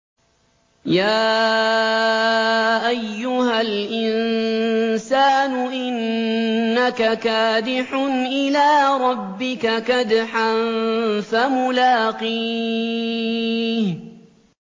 يَا أَيُّهَا الْإِنسَانُ إِنَّكَ كَادِحٌ إِلَىٰ رَبِّكَ كَدْحًا فَمُلَاقِيهِ